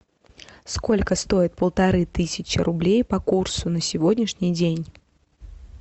сколько стоит полторы тысячи рублей по курсу на сегодняшний день